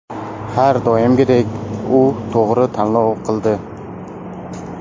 Har doimgidek u to‘g‘ri tanlov qildi”.